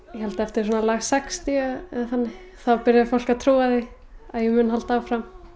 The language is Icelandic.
ég held eftir lag sextíu byrjaði fólk að trúa því að ég myndi halda áfram